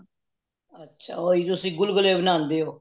ਅੱਛਾ ਉਹੀ ਗੁਲਗੁੱਲੇ ਬਾਨਾਂਦੇਵੋ